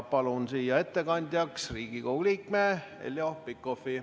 Palun ettekandjaks Riigikogu liikme Heljo Pikhofi.